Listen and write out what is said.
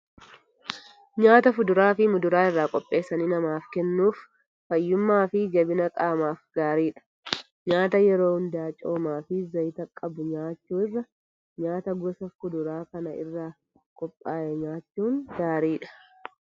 Nyaata fuduraa fi muduraa irraa qopheessanii namaaf kennuuf fayyummaa fi jabina qaamaaf gaariidha. Nyaata yeroo hundaa coomaa fi zayita qabu nyaachuu irra nyaata gosa fuduraa kana irraa qophaa'e nyaachuun gaariidha.